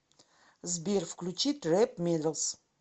сбер включи трэп медалс